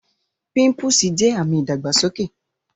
Pimpúsì jẹ̀ awọn ami ìdàgbàsọkè.